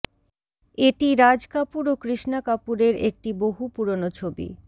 এটি রাজ কাপুর ও কৃষ্ণা কাপুরের একটি বহু পুরনো ছবি